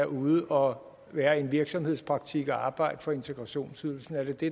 ud og være i en virksomhedspraktik og arbejde for integrationsydelsen er det det